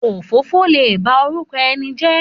Òfófó lè ba orúkọ ẹni jẹ́